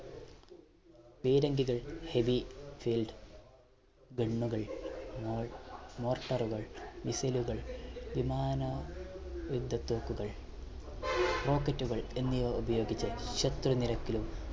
പീരങ്കികൾ heavy field gun കൾ മോ morchar കൾ missile കൾ വിമാന യുദ്ധ തോക്കുകൾ rocket കൾ എന്നിവ ഉപയോഗിച്ച് ശത്രു നിരക്കിലും